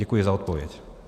Děkuji za odpověď.